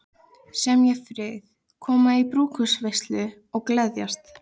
Semja frið, koma í brúðkaupsveislu og gleðjast.